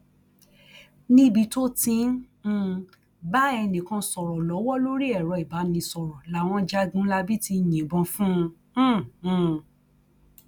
níbi tó ti ń um bá ẹnìkan sọrọ lọwọ lórí ẹrọ ìbánisọrọ làwọn jagunlabí ti yìnbọn fún um un